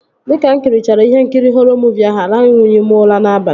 Dịka mụ kirichara ihe nkiri họrọ muuvi ahụ, aranwughị m ụra n'abalị